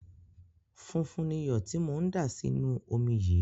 Funfun ni iyọ̀ tí mò ń dà sí inú omi yìí.